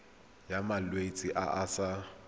ya malwetse a a sa